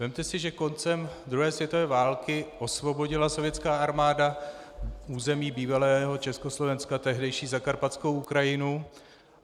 Vezměte si, že koncem druhé světové války osvobodila sovětská armáda území bývalého Československa, tehdejší Zakarpatskou Ukrajinu.